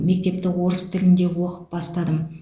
мектепті орыс тілінде оқып бастадым